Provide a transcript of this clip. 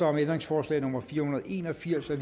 om ændringsforslag nummer fire hundrede og en og firs af